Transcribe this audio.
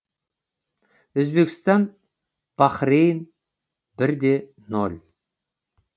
өзбекстан бахрейн бірде нөл